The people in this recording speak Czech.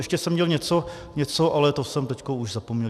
Ještě jsem měl něco, ale to jsem teď už zapomněl.